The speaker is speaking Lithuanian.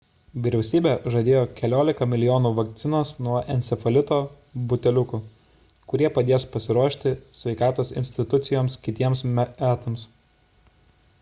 vyriausybė žadėjo keliolika milijonų vakcinos nuo encefalito buteliukų kurie padės pasiruošti sveikatos institucijoms kitiems metams